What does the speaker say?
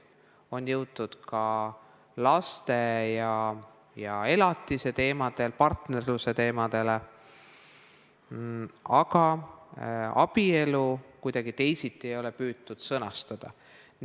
On jõutud ka laste ja elatise teemadeni ning partnerluse teemadeni, aga abielu ei ole küll püütud kuidagi teisiti sõnastada.